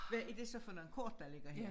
Hvad er det så for noget kort der ligger her